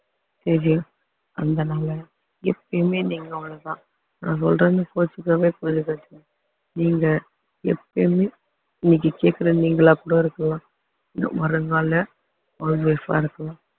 அதனால எப்பயுமே நீங்க அவ்ளோதான் நான் சொல்றேன்னு கோவிச்சுக்க~ நீங்க எப்பயுமே இன்னைக்கு கேட்கிற நீங்களா கூட இருக்கலாம் இன்னும் வருங்கால house wife அ இருக்கலாம்